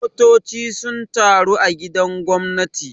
Motoci sun taru a gidan gwamnati.